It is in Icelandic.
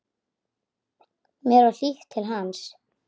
Mér var hlýtt til hans.